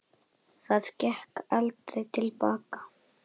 Það gekk aldrei til baka.